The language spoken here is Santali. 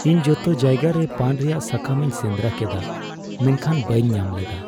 ᱤᱧ ᱡᱚᱛᱚ ᱡᱟᱭᱜᱟᱨᱮ ᱯᱟᱱ ᱨᱮᱭᱟᱜ ᱥᱟᱠᱟᱢᱤᱧ ᱥᱮᱸᱫᱨᱟ ᱠᱮᱫᱟ ᱢᱮᱱᱠᱷᱟᱱ ᱵᱟᱹᱧ ᱧᱟᱢ ᱞᱮᱫᱟ ᱾